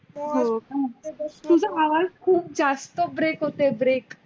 तुझ आवाज़ खुप जास्त break होतय break